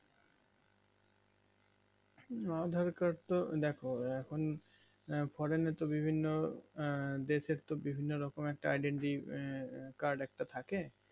aadher card টা দেখো এখন বিভিন্ন আঃ দেশের তো বিভিন্ন রোকন একটা identity card একটা থাকে